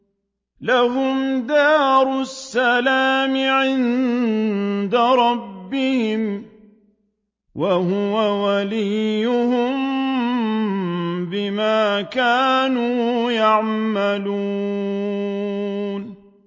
۞ لَهُمْ دَارُ السَّلَامِ عِندَ رَبِّهِمْ ۖ وَهُوَ وَلِيُّهُم بِمَا كَانُوا يَعْمَلُونَ